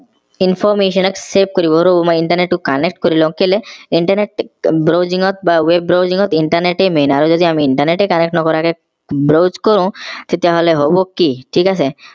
information ত save কৰিব ৰব মই internet টো connect কৰি লও কেলে internet browsing ত বা web browsing ত internet তেই main আৰু যদি আমি internet তেই connect নকৰাকে browse কৰো তেতিয়া হেলে হব কি ঠিক আছে